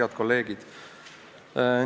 Head kolleegid!